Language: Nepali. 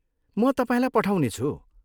म तपाईँलाई पठाउने छु।